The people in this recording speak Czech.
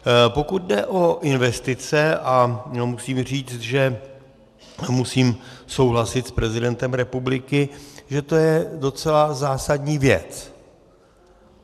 Pokud jde o investice, a musím říct, že musím souhlasit s prezidentem republiky, že to je docela zásadní věc.